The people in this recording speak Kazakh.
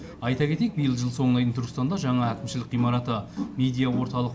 айта кетейік биыл жыл соңына дейін түркістанда жаңа әкімшілік ғимараты медиа орталық